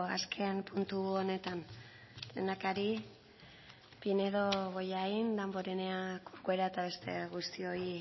azken puntu honetan lehendakari pinedo bollain damborenea corcuera eta beste guztioi